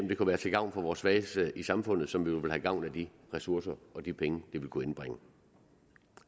det kunne være til gavn for vores svageste i samfundet som jo ville have gavn af de ressourcer og de penge ville kunne indbringe